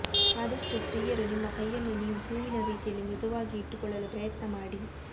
ಆದಷ್ಟು ಸ್ತ್ರೀಯರು ನಿಮ್ಮ ಕೈಯನ್ನು ನೀವು ಹೂವಿನ ರೀತಿಯಲ್ಲಿ ಮೃದುವಾಗಿ ಇಟ್ಟುಕೊಳ್ಳಲು ಪ್ರಯತ್ನ ಮಾಡಿ